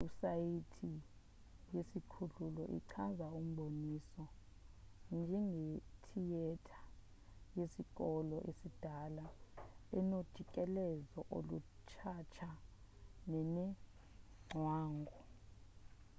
iwebhusayithi yesikhululo ichaza umboniso njengethiyetha yesikolo esidala enojikelezo olutshatsha nenengcwangu